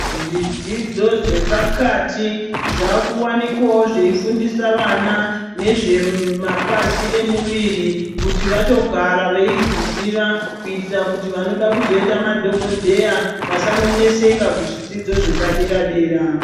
Zvidzidzo zvepakati zvaakuvanikwavo zveifundise vana nezve mapazi emuviri kuitira kuti vatogara veizviziva kuitira kuti vanoda kuzoita madhokodheya vasanoneseka kuzvidzidzo zvepadera dera.